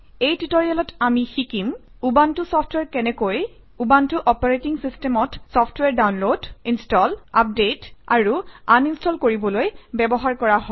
এই টিউটৰিয়েলত আমি শিকিম - উবুণ্টু চফট্ৱেৰ কেনেকৈ উবুণ্টু অপাৰেটিং চিচটেমত চফট্ৱেৰ ডাউনলোড ইনষ্টল আপডেট আৰু আনইনষ্টল কৰিবলৈ ব্যৱহাৰ কৰা হয়